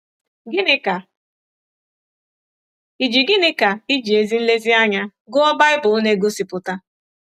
Gịnị ka ịji Gịnị ka ịji ezi nlezianya gụọ Baịbụl na-egosipụta?